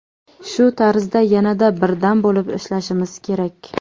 Shu tarzda yanada birdam bo‘lib ishlashimiz kerak.